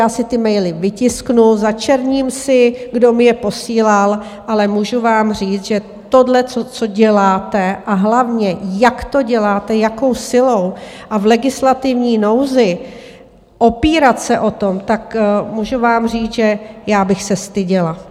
Já si ty maily vytisknu, začerním si, kdo mi je posílal, ale můžu vám říct, že tohle, co děláte, a hlavně, jak to děláte, jakou silou a v legislativní nouzi, opírat se o to, tak můžu vám říct, že já bych se styděla!